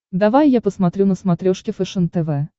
давай я посмотрю на смотрешке фэшен тв